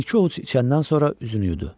Bir-iki ovuc içəndən sonra üzünü yudu.